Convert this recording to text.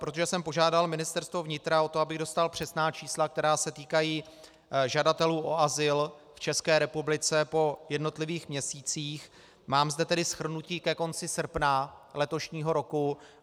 Protože jsem požádal Ministerstvo vnitra o to, abych dostal přesná čísla, která se týkají žadatelů o azyl v České republice, po jednotlivých měsících, mám zde tedy shrnutí ke konci srpna letošního roku.